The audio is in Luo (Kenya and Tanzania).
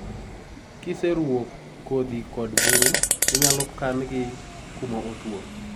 kiseruo kothi kod buru, inyalo kan gi kuma otuo